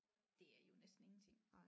Det er jo næsten ingenting